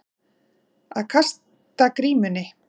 Að kasta grímunni